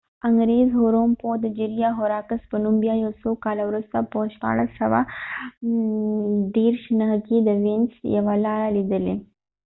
انګریز هوروم پوه د جیریا هوراکس په نوم بیا یو څو کاله وروسته په 1639کې د وینس یوه لاره ليدلي